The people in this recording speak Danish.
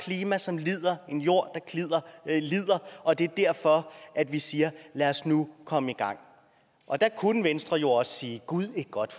klima som lider og en jord der lider og det er derfor vi siger lad os nu komme i gang og der kunne venstre jo også sige gud et godt